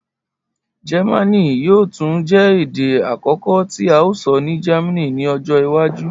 Jẹmánì yoo tun jẹ ede akọkọ ti a sọ ni Germany ni ọjọ iwaju.